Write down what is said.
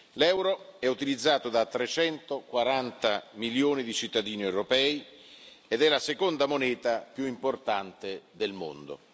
L'euro è utilizzato da 340 milioni di cittadini europei ed è la seconda moneta più importante del mondo.